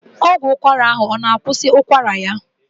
Ọgwụ ụkwara ahụ ọ na akwusi ụkwara ya?